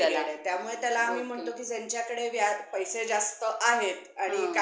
locking period आहे त्यामुळे त्याला आम्ही म्हणतो की ज्यांच्याकडे व्याज पैसे जास्त आहेत, आणि काय करावं त्या पैशाचं त्यांना कळत नाही त्यांनी